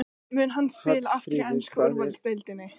Mun hann spila aftur í ensku úrvalsdeildinni?